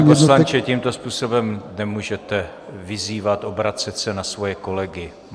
Pane poslanče, tímto způsobem nemůžete vyzývat, obracet se na svoje kolegy.